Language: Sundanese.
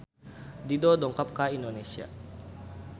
Dido dongkap ka Indonesia